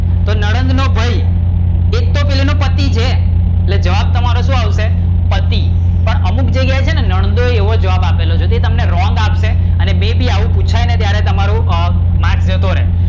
તો નણંદ નો ભાઈ એક તો પહેલી નો પતિ છે એ જવાબ તમારો શું આવશે પતિ? પણ અમુક જગ્યા એ છે ને નણંદો એવો જવાબ આપેલો છે અને તમને wrong આપશે આને બે-બે આવું પુછાય ને ત્યારે તમારો marks જતો રે,